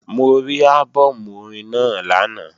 Mo rí álbọ̀mù orin náà lánàá